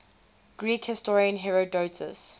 greek historian herodotus